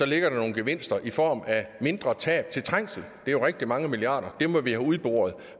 ligger der nogle gevinster i form af mindre tab til trængsel det er jo rigtig mange milliarder kroner vi må have udboret